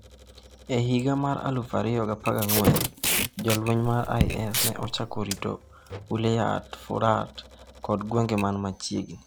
E higa mar 2014, jolweny mar IS ne ochako rito Wilayat al-Furat kod gwenge man machiegni.